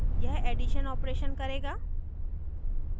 यह addition operation करेगा